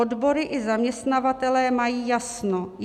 Odbory i zaměstnavatelé mají jasno.